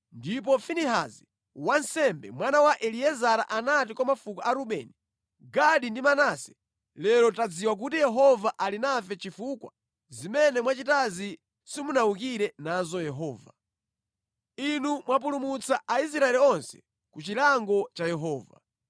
Ndipo Finehasi wansembe, mwana wa Eliezara anati kwa mafuko a Rubeni, Gadi ndi Manase, “Lero tadziwa kuti Yehova ali nafe chifukwa zimene mwachitazi simunawukire nazo Yehova. Inu mwapulumutsa Aisraeli onse ku chilango cha Yehova.”